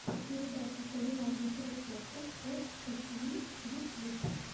передача кулинарных рецептов от эсви ютьюб